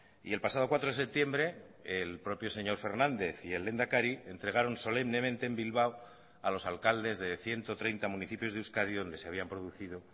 y el pasado cuatro de septiembre el propio señor fernández y el lehendakari entregaron solemnemente en bilbao a los alcaldes de ciento treinta municipios de euskadi donde se habían producido